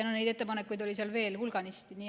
Ja neid ettepanekuid oli seal veel hulganisti.